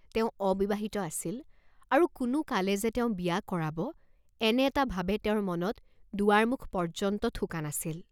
তেওঁ অবিবাহিত আছিল আৰু কোনো কালে যে তেওঁ বিয়া কৰাব, এনে এটা ভাবে তেওঁৰ মনত দুৱাৰ মুখ পৰ্য্যন্ত থোকা নাছিল।